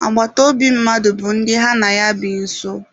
Agbataobi mmadụ bụ ndị ha na ya bi nso.